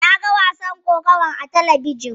Naga wasan kokawar a talabijin.